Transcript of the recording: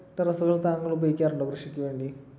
terrace കൾ താങ്കൾ ഉപയോഗിക്കാറുണ്ടോ കൃഷിക്കുവേണ്ടി?